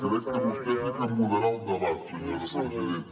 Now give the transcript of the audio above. crec que vostè ha de moderar el debat senyora presidenta